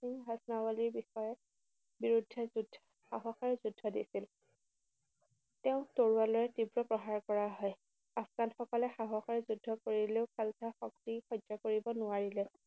সিং হাচনাবলীৰ বিষয়ে বিৰুদ্ধে সাহসেৰে যুদ্ধ দিছিল। তেওঁক তৰোৱালেৰে তীব্ৰ প্ৰহাৰ কৰা হয়। আফগানসকলে সাহসেৰে যুদ্ধ কৰিলেও খালছা শক্তি সহ্য কৰিব নোৱাৰিলে।